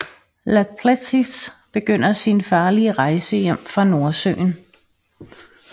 Lāčplēsis begynder sin farlige rejse hjem fra Nordsøen